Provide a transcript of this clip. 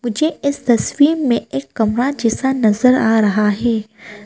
ये इस तस्वीर में एक कमरा जैसा नजर आ रहा है।